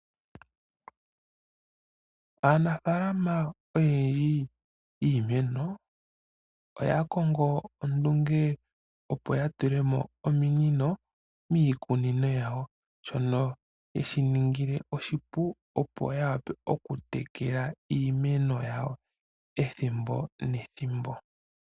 Aanafaalama oyendji yiimeno oyakongo ondunge opo yatule mo ominino miikunino yawo shoka sheya ningile oshipu opo ya wape okutekela iimeno yawo ethimbo nethimbo.